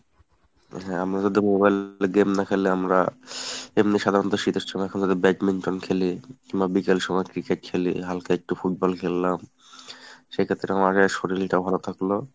হ্যাঁ আমরা যদি mobile এ game না খেলে, আমরা এমনি সাধারণত শীতের সময় যদি badminton খেলি বা বিকেল সময় cricket খেলি হালকা একটু football খেললাম সেক্ষেত্রে আমাদের শরীলটা ভালো থাকলো।